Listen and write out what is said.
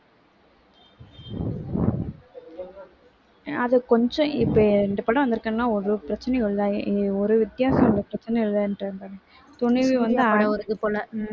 அது கொஞ்சம் இப்ப இந்தப் படம் வந்திருக்குன்னா ஒரு பிரச்சனையும் இல்லை ஒரு வித்தியாசமும் ஒரு பிரச்சனையும் இல்லைன்றாங்க. துணிவு வந்து